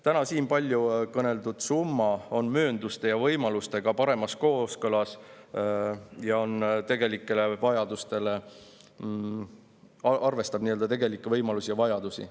Täna siin palju kõneldud summa on möönduste ja võimalustega paremas kooskõlas ning arvestab tegelikke võimalusi ja vajadusi.